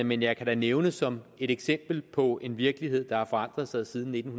men jeg kan da nævne som et eksempel på en virkelighed der har forandret sig siden nitten